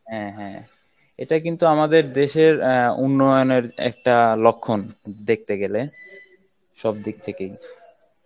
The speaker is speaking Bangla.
হ্যাঁ হ্যাঁ এটা কিন্তু আমাদের দেশের আহ উন্নয়নের একটা লক্ষণ দেখতে গেলে সব দিক থেকেই